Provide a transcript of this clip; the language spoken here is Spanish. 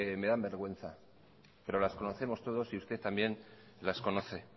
me dan vergüenza pero las conocemos todos y usted también las conoce